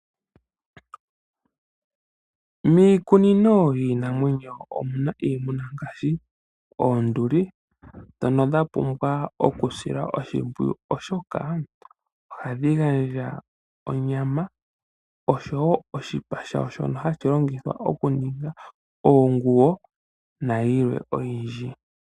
Miikunino yiinamwenyo omuna iimuna ngaashi oonduli ndhono dha pumbwa okusila oshimpwiyu , oshoka ohadhi gandja onyama oshowo oshipa shawo shono hashi longithwa okuninga oonguwo na yilwe oyindji.